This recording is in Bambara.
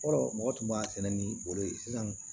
Fɔlɔ mɔgɔ tun b'a sɛnɛ ni o ye sisan